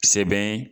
Sɛbɛn